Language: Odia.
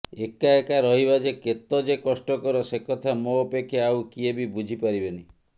ଏକା ଏକା ରହିବା ଯେ କେତଯେ କଷ୍ଟକର ସେ କଥା ମୋ ଅପେକ୍ଷା ଆଉ କିଏ ବି ବୁଝିପାରିବେନି